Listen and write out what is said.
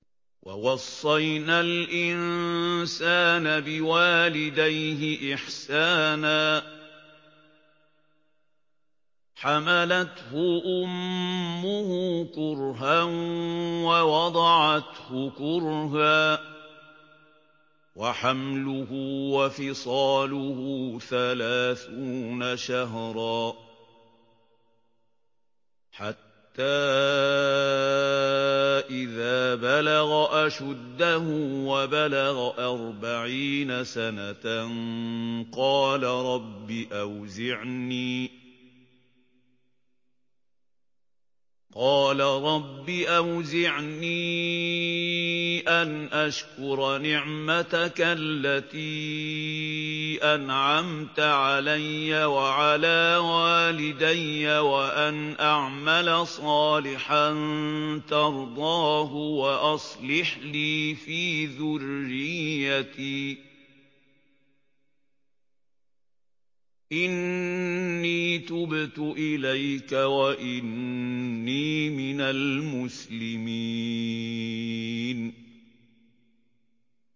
وَوَصَّيْنَا الْإِنسَانَ بِوَالِدَيْهِ إِحْسَانًا ۖ حَمَلَتْهُ أُمُّهُ كُرْهًا وَوَضَعَتْهُ كُرْهًا ۖ وَحَمْلُهُ وَفِصَالُهُ ثَلَاثُونَ شَهْرًا ۚ حَتَّىٰ إِذَا بَلَغَ أَشُدَّهُ وَبَلَغَ أَرْبَعِينَ سَنَةً قَالَ رَبِّ أَوْزِعْنِي أَنْ أَشْكُرَ نِعْمَتَكَ الَّتِي أَنْعَمْتَ عَلَيَّ وَعَلَىٰ وَالِدَيَّ وَأَنْ أَعْمَلَ صَالِحًا تَرْضَاهُ وَأَصْلِحْ لِي فِي ذُرِّيَّتِي ۖ إِنِّي تُبْتُ إِلَيْكَ وَإِنِّي مِنَ الْمُسْلِمِينَ